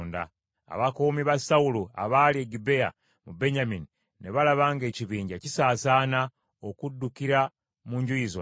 Abakuumi ba Sawulo abaali e Gibea mu Benyamini ne balaba ng’ekibinja kisaasaana okuddukira mu njuyi zonna.